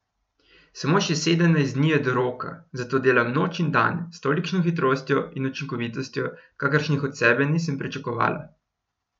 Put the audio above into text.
Samo še sedemnajst dni je do roka, zato delam noč in dan s tolikšno hitrostjo in učinkovitostjo, kakršnih od sebe nisem pričakovala.